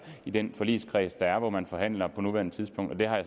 i den forligskreds der er og hvor man forhandler på nuværende tidspunkt jeg har